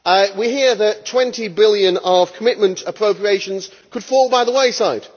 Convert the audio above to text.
We hear that EUR 20 billion of commitment appropriations could fall by the wayside.